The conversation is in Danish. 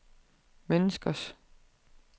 menneskers